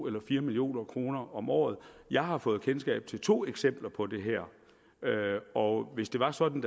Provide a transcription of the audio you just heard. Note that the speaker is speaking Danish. eller fire million kroner om året jeg har fået kendskab til to eksempler på det her og hvis det var sådan